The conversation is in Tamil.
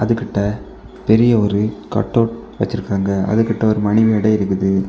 கிட்ட பெரிய ஒரு கட்டவுட் வெச்சிருக்காங்க அது கிட்ட ஒரு மணி மேடை இருக்குது.